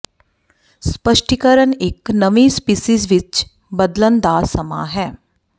ਸਪਸ਼ਟੀਕਰਨ ਇੱਕ ਨਵੀਂ ਸਪੀਸੀਜ਼ ਵਿੱਚ ਬਦਲਣ ਦਾ ਸਮਾਂ ਹੈ